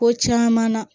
Ko caman na